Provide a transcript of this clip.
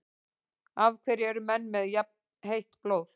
Af hverju eru menn með jafnheitt blóð?